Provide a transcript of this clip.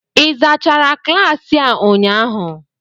ị zachara klaasị a ụnyaahụ?